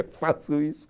Eu faço isso.